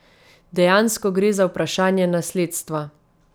Dejansko gre za vprašanje nasledstva.